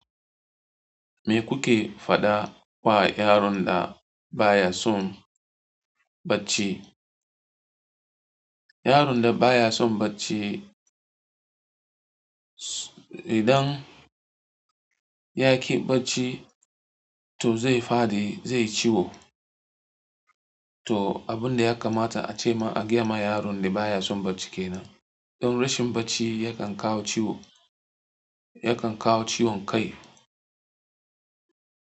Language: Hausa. Me kuke faɗa wa yaron da baya son bacci? Yaron da baya son bacci, idan ya ƙi bacci, to zai fadi, zai ciwo. To, abin da ya kamata a ce ma, a gaya ma yaron da baya son bacci ke nan. Don rashin bacci yakan kawo ciwo, yakan kawo ciwon kai.